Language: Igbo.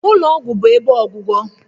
Ụlọ ọgwụ bụ ebe ọgwụgwọ